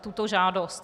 tuto žádost.